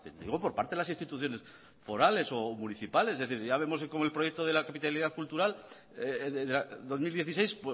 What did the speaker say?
digo por parte de las instituciones forales o municipales es decir ya vemos como el proyecto del capitalidad cultural dos mil dieciséis